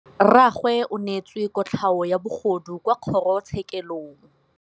Rragwe o neetswe kotlhaô ya bogodu kwa kgoro tshêkêlông.